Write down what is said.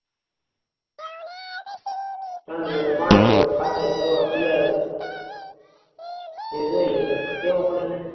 time જોઈએ ને પાણી પાવું ખાતર બિયારણ એ જોઈ પ્રમાણે દેવું પડન